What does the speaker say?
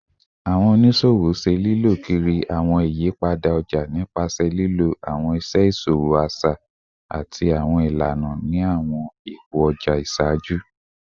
Awọn oniṣowo ṣe lilọ kiri awọn iyipada ọja nipasẹ lilo awọn iṣe iṣowo aṣa ati awọn ilana ni awọn ipo ọja iṣaaju